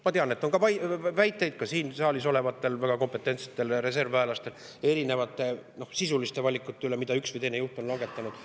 Ma tean, et ka siin saalis olevatel väga kompetentsetel reservväelastel on väiteid erinevate sisuliste valikute kohta, mida üks või teine juht on langetanud.